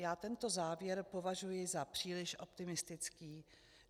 Já tento závěr považuji za příliš optimistický.